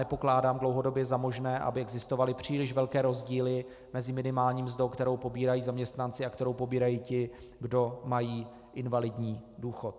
Nepokládám dlouhodobě za možné, aby existovaly příliš velké rozdíly mezi minimální mzdou, kterou pobírají zaměstnanci a kterou pobírají ti, kdo mají invalidní důchod.